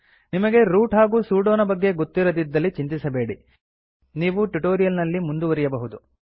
ನಿಮಗೆ ರೂಟ್ ಹಾಗೂ ಸೂಡೋ ನ ಬಗ್ಗೆ ಗೊತ್ತಿರದಿದ್ದಲ್ಲಿ ಚಿಂತಿಸಬೇಡಿ ನೀವು ಟ್ಯುಟೋರಿಯಲ್ ನಲ್ಲಿ ಮುಂದುವರಿಯಬಹುದು